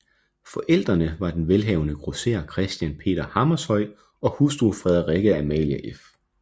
Forældrene var den velhavende grosserer Christian Peter Hammershøi og hustru Frederikke Amalie f